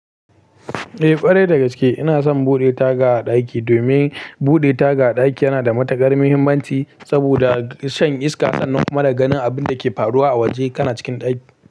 Eh, ƙwarai dagaske. Ina son buɗe taga a ɗaki domin buɗe taga a ɗaki yana da matuƙar muhimmanci saboda shan iska sannan kuma da ganin abin da ke faruwa a waje kana cikin ɗaki.